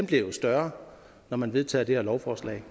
bliver større når man vedtager det her lovforslag